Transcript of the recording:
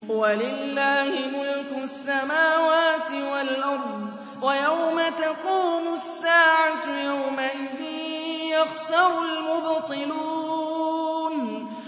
وَلِلَّهِ مُلْكُ السَّمَاوَاتِ وَالْأَرْضِ ۚ وَيَوْمَ تَقُومُ السَّاعَةُ يَوْمَئِذٍ يَخْسَرُ الْمُبْطِلُونَ